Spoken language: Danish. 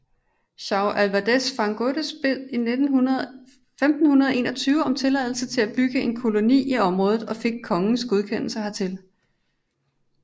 João Álvares Fagundes bad i 1521 om tilladelse til at bygge en koloni i området og fik kongens godkendelse hertil